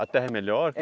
A terra é melhor?